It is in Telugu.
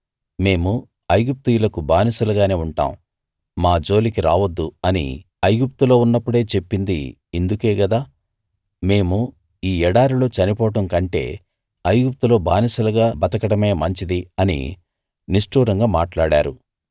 మేము ఐగుప్తీయులకు బానిసలుగానే ఉంటాం మా జోలికి రావద్దు అని ఐగుప్తులో ఉన్నప్పుడే చెప్పింది ఇందుకే గదా మేము ఈ ఎడారిలో చనిపోవడం కంటే ఐగుప్తులో బానిసలుగా బతకడమే మంచిది అని నిష్టూరంగా మాట్లాడారు